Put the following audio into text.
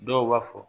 Dɔw b'a fɔ